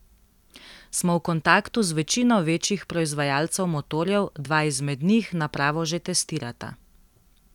Smo v kontaktu z večino večjih proizvajalcev motorjev, dva izmed njih napravo že testirata.